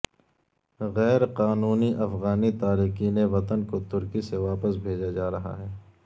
غیر قانونی افغانی تارکین وطن کو ترکی سے واپس بھیجا جا رہا ہے